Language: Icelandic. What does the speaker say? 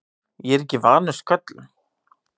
Ég er ekki vanur sköllum.